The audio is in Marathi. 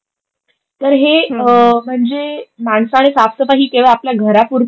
तर हे म्हणजे माणसाने साफ सफाई ही केवळ आपल्या घरापूरतीच